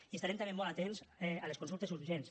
i estarem també molt atents a les consultes urgents